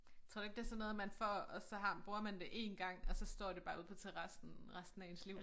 Tror du ikke det sådan noget man får og så har bruger man det 1 gang og så står det bare ude på terrassen resten af ens liv?